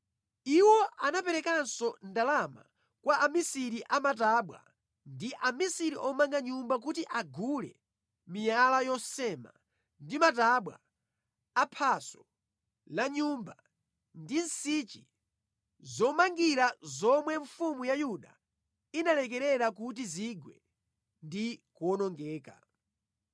Iwo anaperekanso ndalama kwa amisiri a matabwa ndi amisiri omanga nyumba kuti agule miyala yosema ndi matabwa a phaso la nyumba ndi nsichi zomangira zomwe mfumu ya Yuda inalekerera kuti zigwe ndi kuwonongeka.